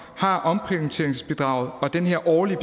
har omprioriteringsbidraget og den her årlige